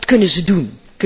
Wat kunnen ze doen?